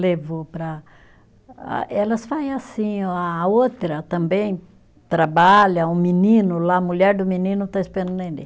Levou para, ah elas faz assim, a outra também trabalha, um menino lá, a mulher do menino está esperando o neném.